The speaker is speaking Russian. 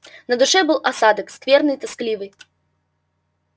на душе был осадок скверный тоскливый